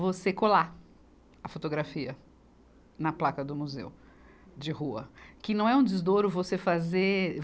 você colar a fotografia na placa do museu de rua, que não é um desdouro você fazer.